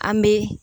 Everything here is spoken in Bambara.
An bɛ